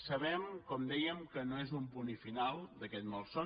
sabem com dèiem que no és un punt final d’aquest malson